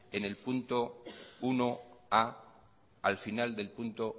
al final del punto